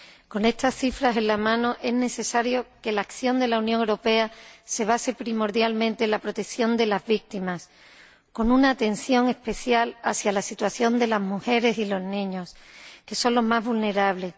Con estas cifras en la mano, es necesario que la acción de la Unión Europea se base primordialmente en la protección de las víctimas, con una atención especial hacia la situación de las mujeres y los niños, que son los más vulnerables.